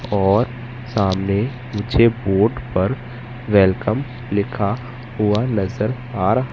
और सामने मुझे बोर्ड पर वेलकम लिखा हुआ नजर आ--